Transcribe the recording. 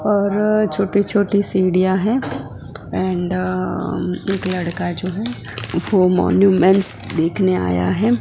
और छोटी छोटी सीढ़ियां है एन्ड एक लड़का है जो वह मॉन्यूमेंट्स देखने आया है।